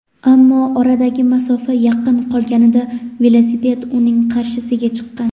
ammo oradagi masofa yaqin qolganida velosiped uning qarshisiga chiqqan.